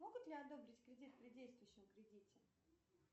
могут ли одобрить кредит при действующем кредите